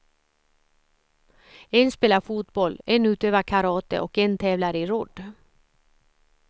En spelar fotboll, en utövar karate och en tävlar i rodd.